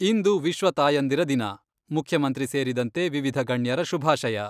ಇಂದು ವಿಶ್ವ ತಾಯಂದಿರ ದಿನ , ಮುಖ್ಯಮಂತ್ರಿ ಸೇರಿದಂತೆ ವಿವಿಧ ಗಣ್ಯರ ಶುಭಾಶಯ.